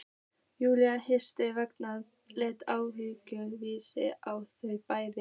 Júlía hins vegar leit ávítandi á þau bæði